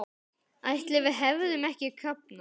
Ætli við hefðum ekki kafnað?